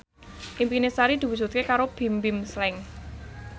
impine Sari diwujudke karo Bimbim Slank